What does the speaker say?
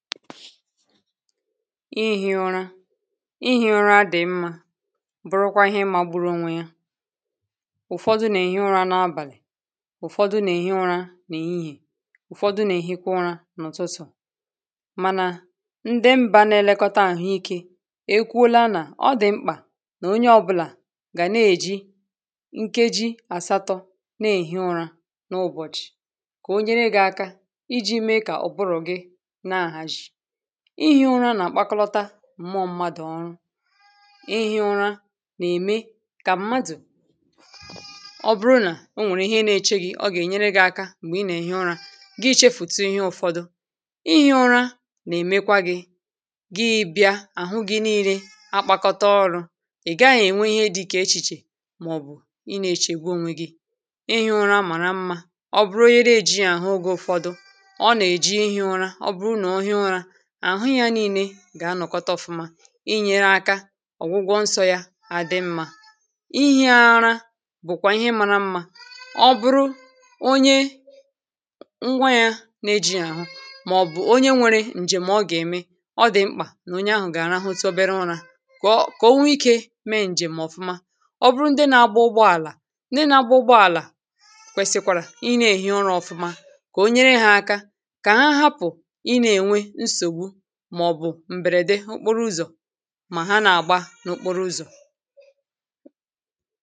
ihì ụra ihì ụra a dì mmȧ bụrụkwa ihe mmadụ̇ bụrụ onwe ya ụ̀fọdụ na-èhi ụra nà-abàlị̀ ụ̀fọdụ nà-èhi ụra nà-èhihè ụ̀fọdụ nà-èhikwa ụra n’ụ̀tụtụ mànà ndị mbȧ na-elekọta àhụike e kwule anà ọ dị̀ mkpà nà onye ọbụlà gà na-èji nkeji àsatọ̇ na-èhi ụra n’ụbọ̀chị̀ kà onye nà-aga iji̇ mee kà ọ̀bụrụ̀ gị ịhị̇ ụra nà-àkpakọta mma mmadụ̀ ọrụ ịhị̇ ụra nà-ème kà mmadụ̀ ọ bụrụ nà o nwèrè ihe na-eche gị̇ ọ gà-ènyere gị̇ aka m̀gbè ị nà-èhi ụra gị chefùtu ihe ụfọdụ ịhị̇ ụra nà-èmekwa gị̇ gị bịa àhụ gị̇ na-ire akpakọta ọrụ̇ ị̀ gaghị̇ ènwe ihe dị ike echìchè màọbụ̀ ị nà-echègbu onwe gị ịhị̇ ụra màrà mmȧ ọ bụrụ onye ree jị àhụ oge ụ̀fọdụ ọ nà-èji ịhị̇ ụra àhụ ya nii̇nė gà-anọ̀kọta ọ̇fụma inyere aka ọ̀gwụgwọ nsọ̇ ya ha dị mmȧ ihi̇ ara bụ̀kwà ihe mȧra mmȧ ọ bụrụ onye ngwa ya n’eji àhụ màọ̀bụ̀ onye nwėrė ǹjèm̀ ọ gà-ème ọ dị̀ mkpà nà onye ahụ̀ gà-àrahụ tobere ụrȧ kà o nwe ikė mee ǹjèm̀ ọ̀fụma ọ bụrụ ndị na-agba ụgbọ àlà n’agba ụgbọ àlà kwèsikwàrà ị na-èhi ụrȧ ọ̇fụma kà onyere ha aka kà ha hapụ̀ mà ha nà-àgba n’okporo ụzọ̀